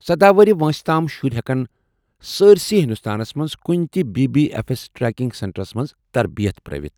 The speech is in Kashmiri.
سدہَ وُہُر وٲنٛسہِ تام شُرۍ ہٮ۪کن سارسٕے ہندوستانس منٛز کُنہِ تہِ B B F S training سینٹرس منٛز تربِیت پرٲوِتھ